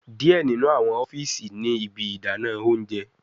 Diẹ ninu awọn ọfiisi ni ibi idana ounjẹ